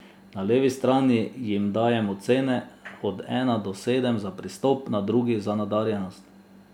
Na levi strani jim dajem ocene od ena do sedem za pristop, na drugi za nadarjenost.